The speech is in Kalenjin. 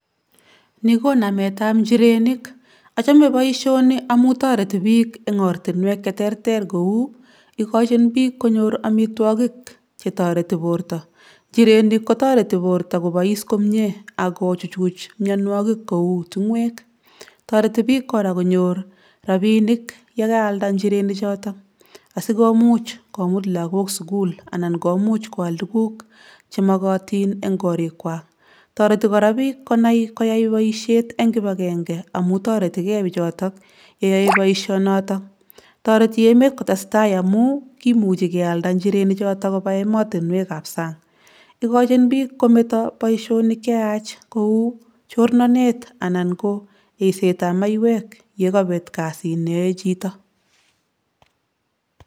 Ni ko nametab njirenik. Achome boisioni amu toreti biik eng' ortinwek che terter kou; Igochin biik konyor omitwogik che toreti borto. Njirenik ko toreti borto kobois komie ak kochuchuch mionwogik kou ting'oek. Toreti biik koraa konyor rabinik yekaalda njirenik choton asikomuuch komuut lagok sugul anan komuuch koal tuguk chemokotin en korikwak. Toreti koraa biik konai koyai boisiet en kibagenge amu toretige bichotok yeyoe boisionoto. Toreti emet kotestai amu kimuchi kealda njirenik choto kobaa emotinwekab sang. Igochin biik kometo boisionik cheyaach kou chornonet anan ko yeseitab maiywek yekopet kasit neyoe chito.